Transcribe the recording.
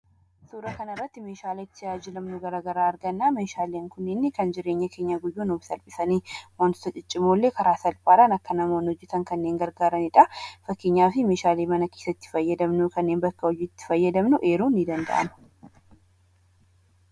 Suuraa kanarratti meeshaalee tajaajilamnu garaagaraa arganna. Meeshaaleen kunniin kan jireenya keenya guyyuu nuuf salphisan wantoota ciccimoollee karaa salphaan namoonni akka hojjatan kan gargaaranidha. Fakkeenyaaf meeshaalee mana keessatti fayyadamnu kanneen bakka hojiitti fayyadamnu jijjiiruun ni danda'ama.